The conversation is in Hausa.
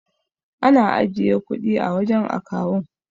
Ana ajiye kudin a wajan akawun